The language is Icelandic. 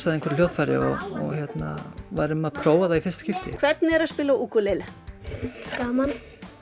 að einhverju hljóðfæri og við værum að prófa það í fyrsta skipti hvernig er að spila á ukulele gaman